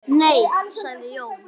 Nei sagði Jón.